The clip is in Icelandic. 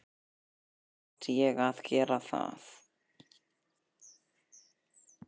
Hvenær átti ég að gera það?